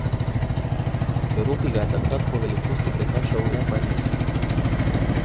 V Evropi ga je takrat po velikosti prekašal le Pariz.